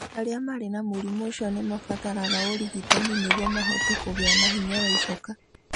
Arĩa marĩ na mũrimũ ũcio nĩ mabataraga ũrigitani nĩguo mahote kũgĩa na hinya wa icoka.